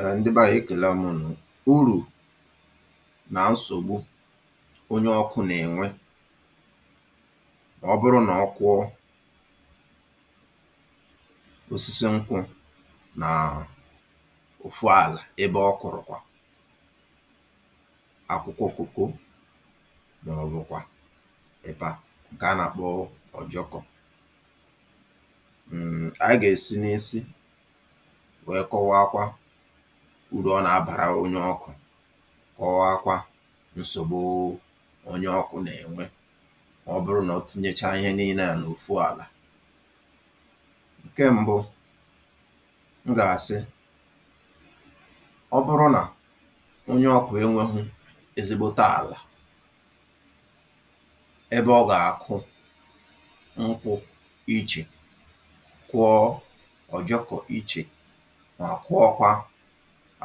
um Ndị bẹ ànyị ekẹ̀lamụ̀ unoo, urù nà nsògbu onye ọkụ nà ẹ̀nwẹ mà ọ bụrụ nà ọ kwụọ osisi nkwụ nàà òfu àlà ebe ọ kụ̀rụ̀kwà akwụkwọ cocoa màọbụ̀kwà ịba ǹkẹ̀ a nà àkpọ ọjọkọ̇. Anyị ga-esi n'isi wee kọwaa uru ọ nà-abàra onye ọkụ̇, kọwaakwa nsògbu onye ọkụ̇ nà-ènwe ọ bụrụ nà ọ tinyechaa ihe nille àhụ n’ofu àlà. Nke ṁbụ̇, m gà-àsị, ọ bụrụ nà onye ọkụ̇ enweghụ ezigbote àlà ebe ọ gà-àkụ nkwụ ichè, kụọọ ọjọkọ iche mà kụọkwa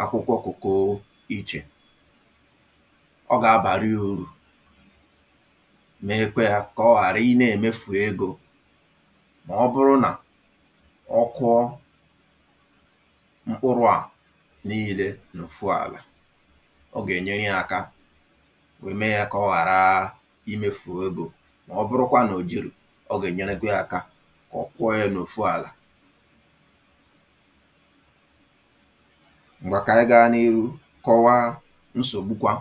akwụkwọ kụkụ ichè, ọ gà abàrịa urù mekwa yȧ kà ọ ghàra ị nȧ-èmefù egȯ. Mà ọ bụrụ nà ọ kụọ mkpụrụ̇ à n’iile n’òfu àlà, ọ gà-ènyere yȧ aka wee mee yȧ kà ọ ghàra imefù egȯ mà ọ bụrụkwa nà òjìrì, ọ gà-ènyerekwe yȧ aka kà ọ kwụọ yȧ n’òfu àlà. Ngwà kà anyị gaȧ n’iru kọwaa nsògbukwȧ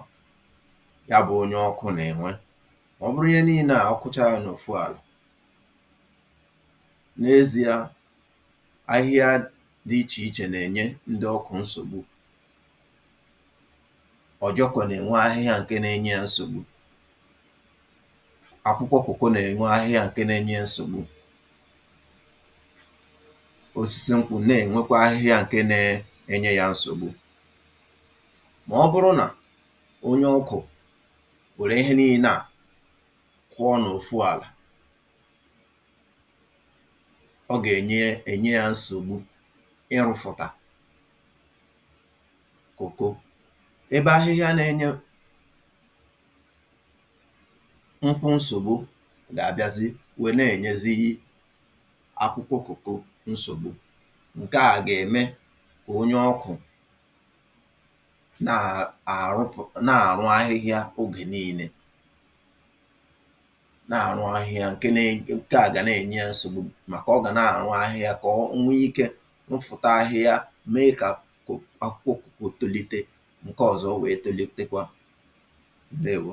ya bụ̇ onye ọkụ̇ nà-ènwe. Ọ bụrụ ihe nii̇lė à ọ kụchara n’ofu àlà, n’ezi̇a, ahịhịa dị ichè ichè nà-ènye ndị ọkụ̇ nsògbu, ọ̀jọkụ̀ nà-ènwe ahịhịa ǹke na-enye ya nsògbu, akwụkwọ kụkụ nà-ènwe ahịhịa ǹke na-enye ya nsògbu, osisi na-enwekwa ahịhịa ǹkẹ̀ nà-enye yȧ nsògbu. Mà ọ bụrụ nà onye ọkụ̀ wère ihe nii̇na kụọ n’ofu àlà, ọ gà enye enye yȧ nsògbu ịrụ̇fụ̀tà kòko. Ebe ahịhịa nȧ-enye nkwụ nsògbu gà-àbịazi wèe na-ènyezighi akwụkwọ kòkò nsògbu kà onye ọkụ̀ na à àrụpụ̀ na àrụ ahịhịa ogè niilė na àrụ ahịa ǹke na-ènye nke à gà na-ènye ya nsògbu màkà ọ gà na-àrụ ahịhịa kà o nwee ike nwéfụta ahịhịa mee kà akwụkwọ akwụkwọ koko tòlite, ǹke ọ̀zọ e wèè tòlitekwa ǹdeèwo.